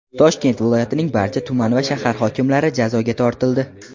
Toshkent viloyatining barcha tuman va shahar hokimlari jazoga tortildi.